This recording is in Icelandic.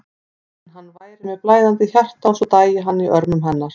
En hann væri með blæðandi hjarta og svo dæi hann í örmum hennar.